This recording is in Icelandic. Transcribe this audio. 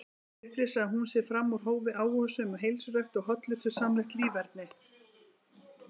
Upplýsir að hún sé fram úr hófi áhugasöm um heilsurækt og hollustusamlegt líferni.